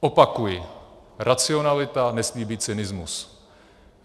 Opakuji, racionalita nesmí být cynismus.